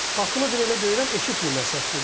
Qapını deyir elə döyürəm, eşitmirlər səsküydən.